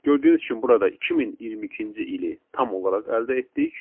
Gördüyünüz kimi burada 2022-ci ili tam olaraq əldə etdik.